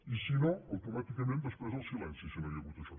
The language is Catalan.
i si no automàticament després el silenci si no hi ha hagut això